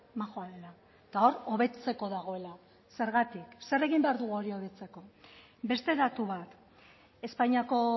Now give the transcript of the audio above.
majoa dela eta hor hobetzeko dagoela zergatik zer egin behar dugu hori hobetzeko beste datu bat espainiako